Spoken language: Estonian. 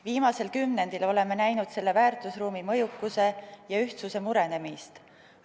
Viimasel kümnendil oleme näinud selle väärtusruumi mõjukuse ja ühtsuse murenemist.